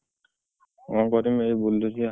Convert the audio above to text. କଣ କରିମି ଏଇ ବୁଲୁଛି ବା।